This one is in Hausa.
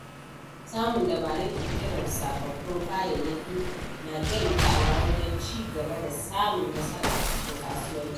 Samun dabarun ƙirƙirar sababbin kayayyaki na taimakawa wajen ci gaba da samun nasara a cikin kasuwanci.